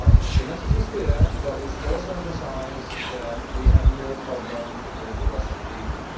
The message is clear, but we should also emphasise that we have no problem with the Russian people.